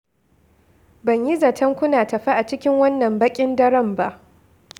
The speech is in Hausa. Ban yi zaton kuna tafe a cikin wannan baƙin daren ba.